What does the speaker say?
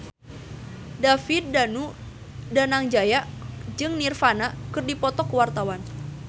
David Danu Danangjaya jeung Nirvana keur dipoto ku wartawan